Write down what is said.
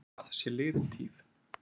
Það sé liðin tíð